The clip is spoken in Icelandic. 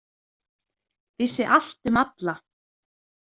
Vissi allt um alla.